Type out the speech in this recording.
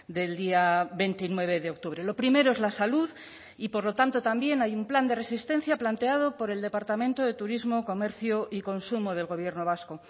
del día veintinueve de octubre lo primero es la salud y por lo tanto también hay un plan de resistencia planteado por el departamento de turismo comercio y consumo del gobierno vasco